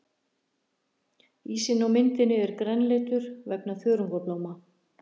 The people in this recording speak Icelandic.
Ísinn á myndinni er grænleitur vegna þörungablóma.